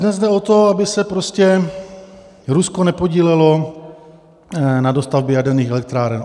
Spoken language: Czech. Dnes jde o to, aby se prostě Rusko nepodílelo na dostavbě jaderných elektráren.